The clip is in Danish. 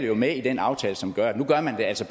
jo med i den aftale som gør at man altså